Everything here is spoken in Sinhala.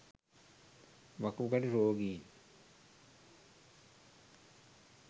වකුගඩු රෝගීන්